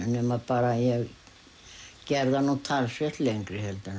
nema ég gerði hann nú talsvert lengri heldur en